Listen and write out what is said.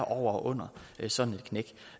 over og under sådan